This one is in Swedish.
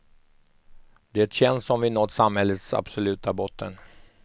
Det känns som vi nått samhällets absoluta botten.